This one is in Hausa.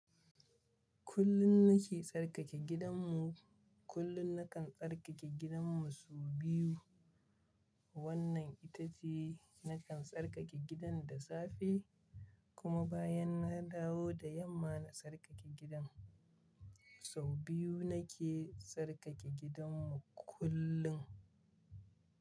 Kullum nake tsarkake gidanmu. Kullum nakan tsarkake gidan mu sau biyu. Wannan ita ce nakan tsarkake gidan da safe kuma bayan na dawo da yamma na tsarkake gidan. Sau biyu nake tsarkake gidanmu kullum.